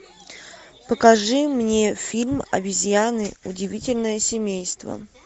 покажи мне фильм обезьяны удивительное семейство